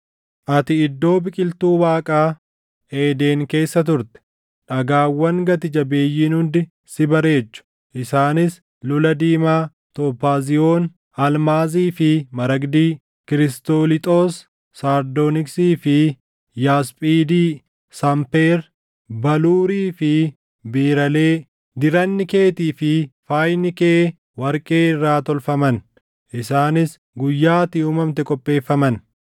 Ati iddoo biqiltuu Waaqaa, Eeden keessa turte; dhagaawwan gati jabeeyyiin hundi si bareechu; isaanis: lula diimaa, tophaaziyoon, almaazii fi maragdi, kirisooliixoos, sardooniksii fi yaasphiidi, sanpeer, baluurii fi biiralee. Diranni keetii fi faayni kee warqee irraa tolfaman; isaanis guyyaa ati uumamte qopheeffaman.